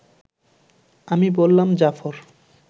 আমি বললাম, জাফর